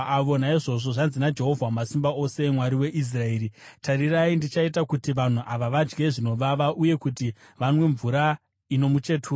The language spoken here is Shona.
Naizvozvo zvanzi naJehovha Wamasimba Ose, Mwari weIsraeri, “Tarirai ndichaita kuti vanhu ava vadye zvinovava uye kuti vanwe mvura ino muchetura.